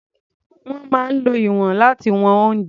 Wọ́n máa ń lo ìwọ̀n láti wọn oúnjẹ.